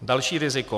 Další riziko.